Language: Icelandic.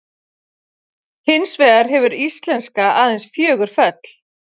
Hins vegar hefur íslenska aðeins fjögur föll.